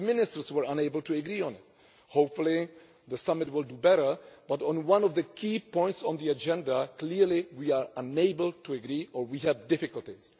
The ministers were unable to agree on it. Hopefully the summit will do better, but on one of the key points on the agenda, clearly we are unable to agree or we have difficulties.